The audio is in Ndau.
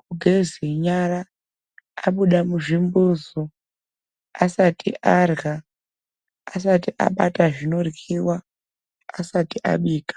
kugeze nyara, abuda muzvimbuzu asati arya asati abata zvinoryiva asati abika.